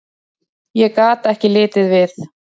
Ég gat ekki litið við.